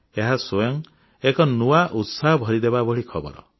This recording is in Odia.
ଏହା ସ୍ୱୟଂ ଏକ ନୂଆ ଉତ୍ସାହ ଭରିଦେବା ଭଳି ଖବର